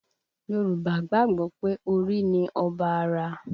Yorùbá gbàgbọ́ pé orí ni ọba ara